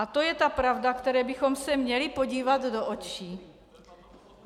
A to je ta pravda, které bychom se měli podívat do očí.